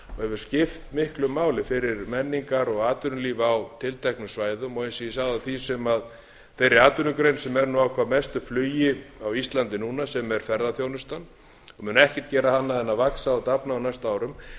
skipt miklu máli fyrir menningar og atvinnulíf á tilteknum svæðum og eins og ég sagði á þeirri atvinnugrein sem er nú á hvað mestu flugi á íslandi núna sem er ferðaþjónustuna mun ekkert gera annað en vaxa og dafna á næstu árum þá